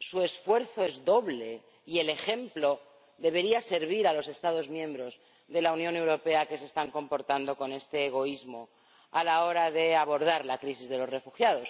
su esfuerzo es doble y el ejemplo debería servir a los Estados miembros de la Unión Europea que se están comportando con este egoísmo a la hora de abordar la crisis de los refugiados.